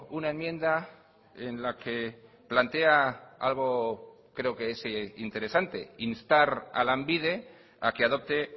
una enmienda en la que plantea algo creo que es interesante instar a lanbide a que adopte